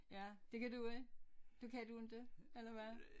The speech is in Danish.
Ja det kan du ikke du kan du ikke eller hvad